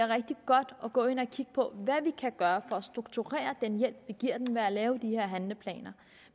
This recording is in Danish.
rigtig godt at gå ind og kigge på hvad vi kan gøre for at strukturere den hjælp vi giver dem ved at lave de her handleplaner